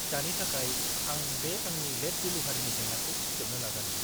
दानि थाखाय, आं बे आंनि लेट डेलिभारिनि जेंनाखौ फोजोबनो नाजानि।